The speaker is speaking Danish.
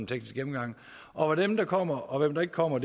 teknisk gennemgang og hvem der kommer og hvem der ikke kommer